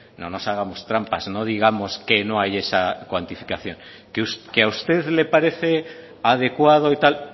no nos hagamos trampas no digamos que no hay esa cuantificación que a usted le parece adecuado y tal